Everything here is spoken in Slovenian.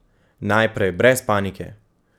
Najprej: 'Brez panike!